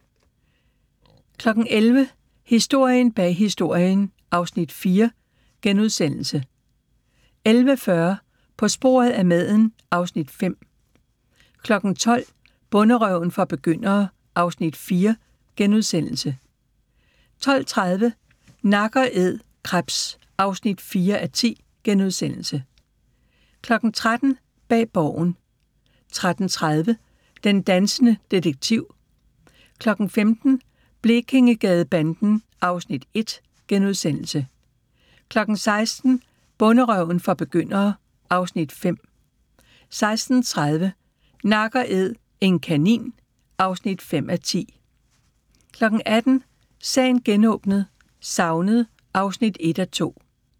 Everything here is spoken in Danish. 11:00: Historien bag Historien (Afs. 4)* 11:40: På sporet af maden (Afs. 5) 12:00: Bonderøven for begyndere (Afs. 4)* 12:30: Nak & æd – krebs (4:10)* 13:00: Bag Borgen 13:30: Den dansende detektiv 15:00: Blekingegadebanden (Afs. 1)* 16:00: Bonderøven for begyndere (Afs. 5) 16:30: Nak & æd - en kanin (5:10) 18:00: Sagen genåbnet: Savnet (1:2)